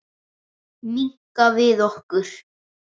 Minnka við okkur.